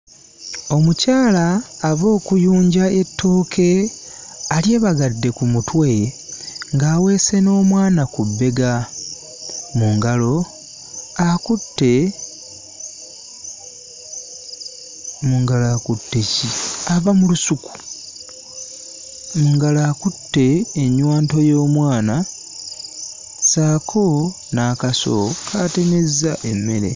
Omukyala ava okuyunja ettooke alyebagadde ku mutwe ng'aweese n'omwana ku bbega. Mu ngalo akutte mu ngalo akutte ki? Ava mu lusuku, mu ngalo akutte ennywanto y'omwana ssaako n'akaso k'atemezza emmere.